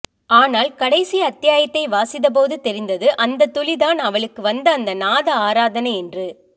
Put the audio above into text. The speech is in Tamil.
ஆனால் கடைசி அத்தியாயத்தை வாசித்தபோது தெரிந்தது அந்தத் துளிதான் அவளுக்கு வந்த அந்த நாத ஆராதனை என்று